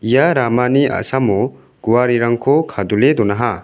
ia ramani a·samo guarerangko kadule donaha.